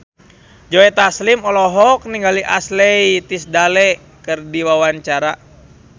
Joe Taslim olohok ningali Ashley Tisdale keur diwawancara